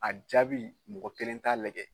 A jaabi mɔgɔ kelen t'a lajɛ